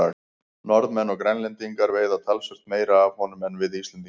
Norðmenn og Grænlendingar veiða talsvert meira af honum en við Íslendingar.